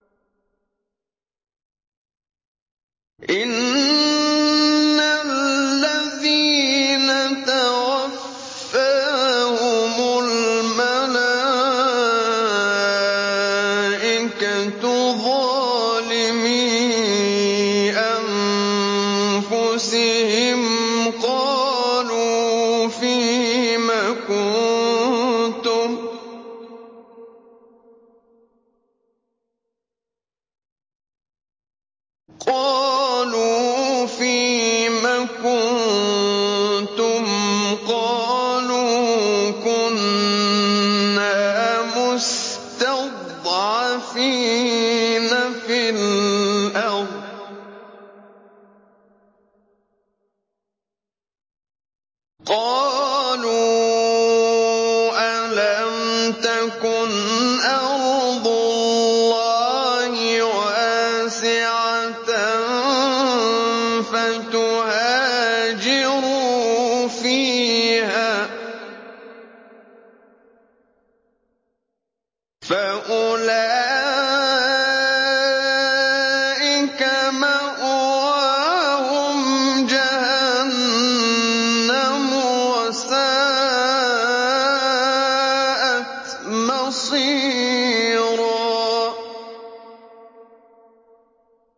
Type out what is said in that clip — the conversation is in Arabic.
إِنَّ الَّذِينَ تَوَفَّاهُمُ الْمَلَائِكَةُ ظَالِمِي أَنفُسِهِمْ قَالُوا فِيمَ كُنتُمْ ۖ قَالُوا كُنَّا مُسْتَضْعَفِينَ فِي الْأَرْضِ ۚ قَالُوا أَلَمْ تَكُنْ أَرْضُ اللَّهِ وَاسِعَةً فَتُهَاجِرُوا فِيهَا ۚ فَأُولَٰئِكَ مَأْوَاهُمْ جَهَنَّمُ ۖ وَسَاءَتْ مَصِيرًا